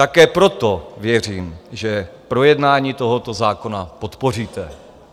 Také proto věřím, že projednání tohoto zákona podpoříte.